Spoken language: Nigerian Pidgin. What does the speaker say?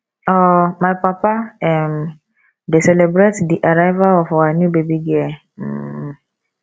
um my papa um dey celebrate di arrival of our new baby girl um